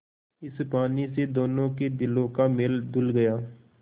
इस पानी से दोनों के दिलों का मैल धुल गया